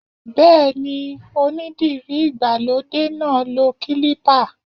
Bẹ́ẹ̀ni, onídìrí ìgbàlódé náà lo kílípà